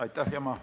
Aitäh!